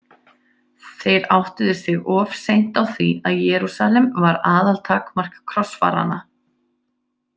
Þeir áttuðu sig of seint á því að Jerúsalem var aðaltakmark krossfaranna.